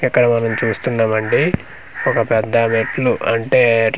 ఇక్కడ మనం చూస్తున్నాము అండి ఒక పెద్ద మెట్లు అంటే.